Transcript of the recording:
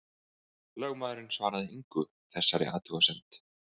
Lögmaðurinn svaraði engu þessari athugasemd.